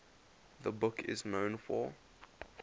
the book is known for